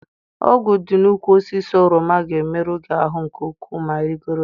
Ogwu dị n'úkwù osisi oroma ga-emerụ gị ahụ nke ukwuu ma ị rịgoro ya.